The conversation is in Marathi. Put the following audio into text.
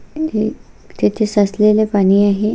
हे एक तेथे साचलेले पाणी आहे.